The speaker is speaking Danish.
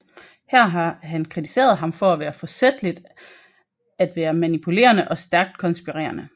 Her har han kritiseret ham for forsætligt at være manipulerende og stærkt konspirerende